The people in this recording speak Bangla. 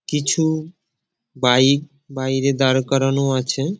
কিছু বাইক বাইরে দাঁড় করানো আছে।